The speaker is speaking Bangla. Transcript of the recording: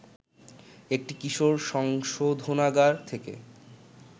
একটি কিশোর সংশোধনাগার থেকে